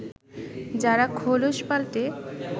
যারা খোলস পাল্টে